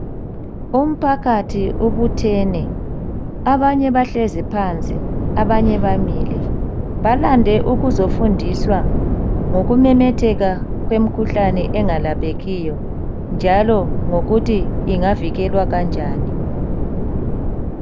Umpakathi ubuthene abanye bahlezi phansi abanye bamile. Balande ukuzofundiswa ngokumemetheka kwemikhuhlane engalaphekilyo njalo ngokuthi ingavikelwa kanjani.